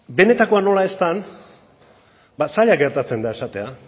benetakoa nola ez den ba zaila gertatzen da esatea